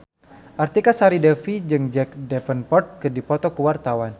Artika Sari Devi jeung Jack Davenport keur dipoto ku wartawan